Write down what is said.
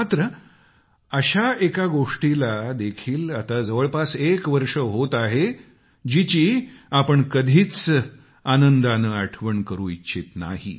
मात्र अशा एका गोष्टीला देखील आता जवळपास एक वर्ष होत आहे जीची आपण कधीच आनंदाने आठवण करु इच्छित नाही